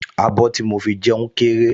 Abọ́ tí mo fi jẹun kéré